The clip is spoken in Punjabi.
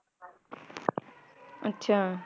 ਅੱਛਾ